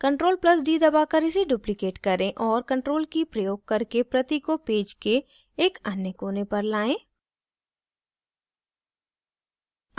ctrl + d दबाकर इसे duplicate करें और ctrl key प्रयोग करके प्रति को पेज के एक अन्य कोने पर लाएं